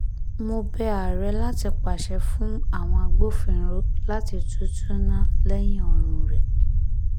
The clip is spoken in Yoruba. mo bẹ ààrẹ láti pàṣẹ fún àwọn agbófinró láti tútúnná lẹ́yìn ọrùn rẹ